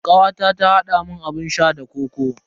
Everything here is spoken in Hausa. Kawata ta haɗa mun abun sha da kokoo.